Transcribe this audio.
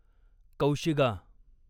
कौशिगा